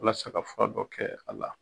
Walasa ka fura dɔ kɛ a la.